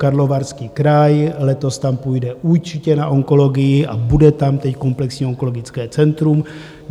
Karlovarský kraj, letos tam půjde určitě na onkologii a bude tam teď komplexní onkologické centrum.